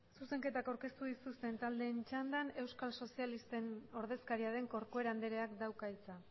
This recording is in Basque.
zuzenketak aurkeztu dituzten taldeen txandan euskal sozialisten ordezkaria den corcuera andreak dauka hitza